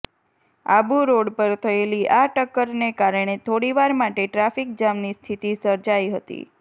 આબુ રોડ પર થયેલી આ ટક્કરને કારણે થોડીવાર માટે ટ્રાફિક જામની સ્થિતિ સર્જાઈ હતી